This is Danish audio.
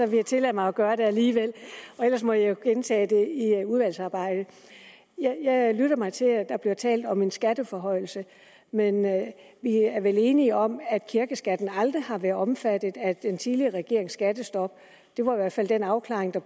vil jeg tillade mig at gøre det alligevel ellers må jeg jo gentage det i udvalgsarbejdet jeg lytter mig til at der bliver talt om en skatteforhøjelse men vi er vel enige om at kirkeskatten aldrig har været omfattet af den tidligere regerings skattestop det var i hvert fald den afklaring der